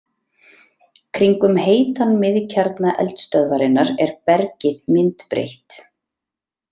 Kringum heitan miðkjarna eldstöðvarinnar er bergið myndbreytt.